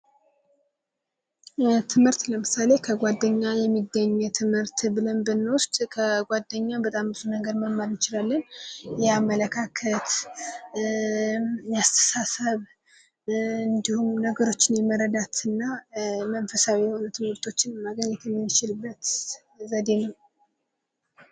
ትምህርት ለምሳሌ ከጓደኛ የሚገኝ የትምህርት ብለን ብንወስድ ከጓደኛ በጣም ብዙ ነገር መማር እንችላለን፤ የአመለካከት፣ የአስተሳሰብ እንዲሁም ነገሮችን የመረዳትና መንፈሳዊ የሆኑ ትምህርቶችን ማግኘት የሚችልበት ዘዴ ነው።